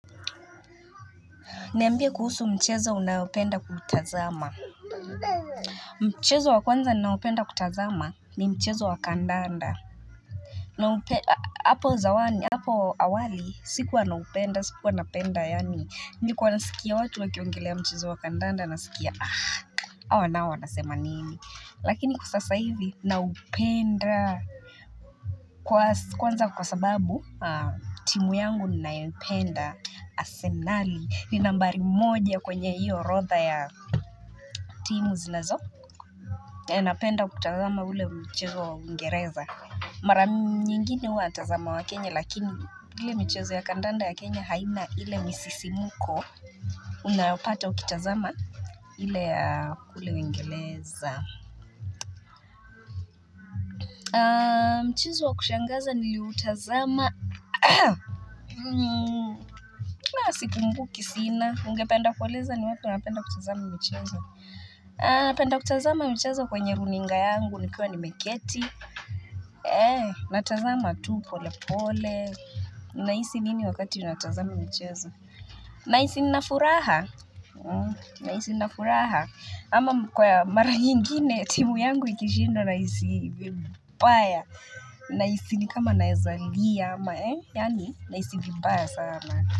Niambie kuhusu mchezo unaopenda kuutazama. Mchezo wa kwanza ninaopenda kutazama ni mchezo wa kandanda Naupenda hapo zamani hapo awali sikuwa naupenda sikuwa napenda yaani nilikuwa nasikia watu wakiongelea mchezo wa kandanda nasikia aaah hawa nao wanasema nini lakini kwa sasa hivi naupenda kwanza kwa sababu timu yangu ninayoipenda Arsenali ni nambari moja kwenye hiyo orodha ya timu zinazo Napenda kutazama ule mchezo wa Uingereza. Mara nyingine huwa natazama wa Kenya lakini ile michezo ya kandanda ya Kenya haina ile misisimko Unayopata ukitazama ile ya kule Uingereza mchezo wa kushangaza nilioutazama la sikumbuki sina ungependa kueleza ni wapi unapenda kutazama michezo napenda kutazama michezo kwenye runinga yangu nikiwa nimeketi, eeeh, natazama tu pole pole. Nahisi nini wakati natazama michezo? Nahisi nina furaha. Nahisi nina furaha. Ama kwa mara nyingine, timu yangu ikishindwa nahisi vibaya. Nahisi ni kama nawezalia ama eeeh Yaani nahisi vibaya sana.